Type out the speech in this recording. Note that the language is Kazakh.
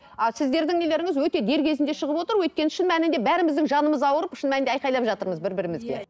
а сіздердің нелеріңіз өте дер кезінде шығып отыр өйткені шын мәнінде бәріміздің жанымыз ауырып шын мәнінде айғайлап жатырмыз бір бірімізге иә